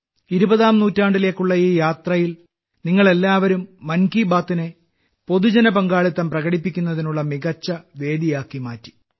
ഇരുപതാം നൂറ്റാണ്ടിലേക്കുള്ള ഈ യാത്രയിൽ നിങ്ങൾ എല്ലാവരും മൻ കി ബാത്നെ പൊതുജന പങ്കാളിത്തം പ്രകടിപ്പിക്കുന്നതിനുള്ള മികച്ച വേദിയാക്കി മാറ്റി